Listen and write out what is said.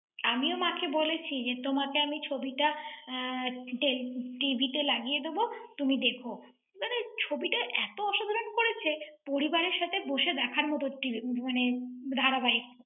আমিও মাকে বলেছি যে, তোমাকে আমি ছবিটা আহ tel~tv তে লাগিয়ে দেবো, তুমি দেখো। মানে ছবিটা এত অসাধারণ করেছে, পরিবারের সাথে বসে দেখার মতো ছিল~ মানে ধারাবাহিক।